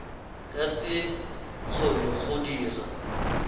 ka se kgone go dira